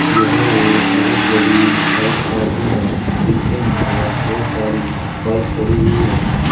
यह एक बहुत बड़ी बाइक पार्किंग है जिसके अंदर बहुत सारी बाइक खड़ी हुई है।